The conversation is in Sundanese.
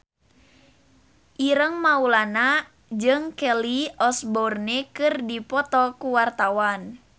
Ireng Maulana jeung Kelly Osbourne keur dipoto ku wartawan